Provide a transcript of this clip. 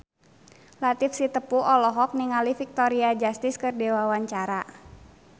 Latief Sitepu olohok ningali Victoria Justice keur diwawancara